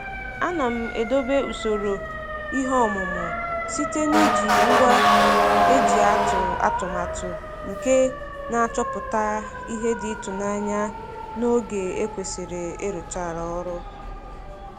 Ana m edobe usoro ihe ọmụmụ site n'iji ngwa e ji atụ atụmatụ nke na-achọpụta ihe dị ịtụnanya na oge e kwesịrị ịrụcha ọrụ.